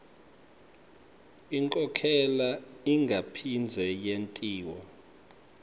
inkhokhela ingaphindze yentiwa